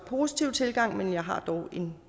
positiv tilgang men jeg har dog en